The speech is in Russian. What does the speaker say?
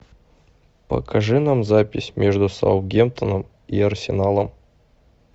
покажи нам запись между саутгемптоном и арсеналом